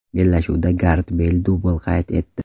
Bellashuvda Garet Beyl dubl qayd etdi.